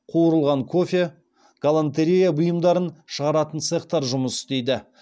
қуырылған кофе галантерея бұйымдарын шығаратын цехтар жұмыс істейді